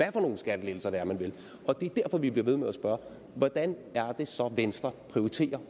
er for nogle skattelettelser man vil og det er derfor vi bliver ved med at spørge hvordan er det så venstre prioriterer